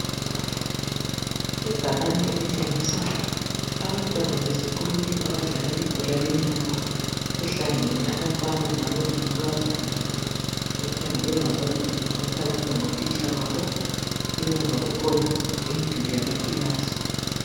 Ibhakane elitshengisa abantwana besikolo abadlala ibhola lenyawo, kuhlangene abafana kanye lamankazana. Bekhangelwe ngababili okukhanya ukuba ngotitsha babo. Emuva kukhona imiduli yamakilasi.